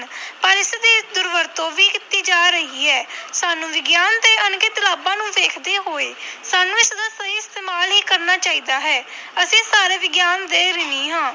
ਪਰ ਇਸਦੀ ਦੁਰਵਰਤੋਂ ਵੀ ਕੀਤੀ ਜਾ ਰਹੀ ਹੈ ਸਾਨੂੰ ਵਿਗਿਆਨ ਦੇ ਅਣਗਿਣਤ ਲਾਭਾਂ ਨੂੰ ਵੇਖਦੇ ਹੋਏ ਸਾਨੂੰ ਇਸਦਾ ਸਹੀ ਇਸਤੇਮਾਲ ਹੀ ਕਰਨਾ ਚਾਹੀਦਾ ਹੈ ਅਸੀਂ ਸਾਰੇ ਵਿਗਿਆਨ ਦੇ ਰਿਣੀ ਹਾਂ।